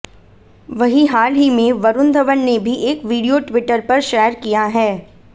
वहीं हाल ही में वरुण धवन ने भी एक वीडियो ट्विटर पर शेयर किया है